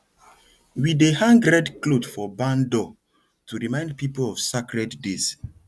we dey hang red cloth for barn door to remind people of sacred days